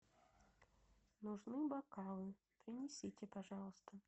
нужны бокалы принесите пожалуйста